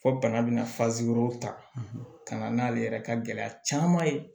Fo bana bɛna ta ka na n'ale yɛrɛ ka gɛlɛya caman ye